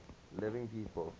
living people